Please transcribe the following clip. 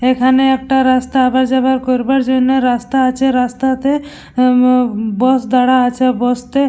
এখানে একটা রাস্তা আওয়া যাওয়া করবার জন্য রাস্তা আছে রাস্তাতে বাস দাঁড়া আছে বাস -তে।